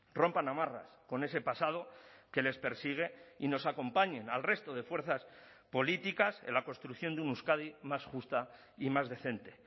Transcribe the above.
rompan amarras con ese pasado que les persigue y nos acompañen al resto de fuerzas políticas en la construcción de una euskadi más justa y más decente